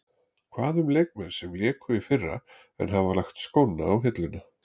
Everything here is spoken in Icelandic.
Hvað um leikmenn sem léku í fyrra en hafa lagt skóna á hilluna.